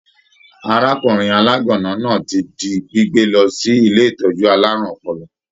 Arákùnrin alaganna náà ti di gbígbé lọ sí ilé ìtọjú àlárún ọpọlọ.